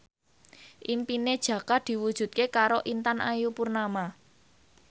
impine Jaka diwujudke karo Intan Ayu Purnama